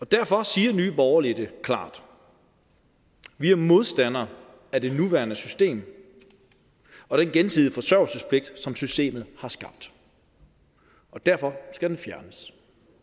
derfor siger nye borgerlige det klart vi er modstandere af det nuværende system og den gensidige forsørgelsespligt som systemet har skabt og derfor skal den fjernes